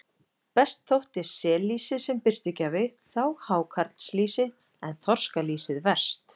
Best þótti sellýsi sem birtugjafi, þá hákarlslýsi en þorskalýsið verst.